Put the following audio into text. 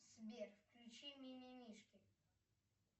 сбер включи мимимишки